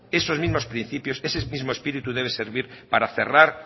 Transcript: esos mismos principios ese mismo espíritu debe servir para cerrar